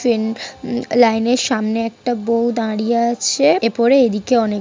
train um line -এর সামনে একটা বউ দাঁড়িয়ে আছে এ পড়ে এদিকে অনেক--